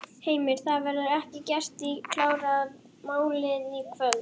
Heimir: Það verður ekki gert í, klárað málið í kvöld?